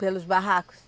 Pelos barracos?